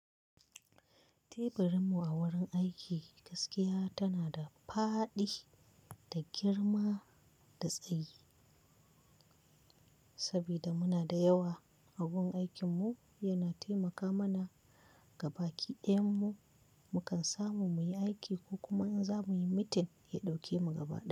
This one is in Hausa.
Teburinmu a wurin aiki gaskiya tana da faɗi da girma da tsayi. Saboda muna da yawa, agun aikinmu yana taimaka mana. Gabaki ɗayan mu mukan samu muyi aiki ko kuma in zamuyi meeting ya ɗauke mu gaba ɗaya.